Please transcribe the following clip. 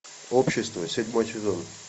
общество седьмой сезон